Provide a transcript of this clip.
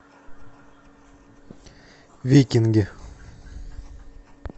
викинги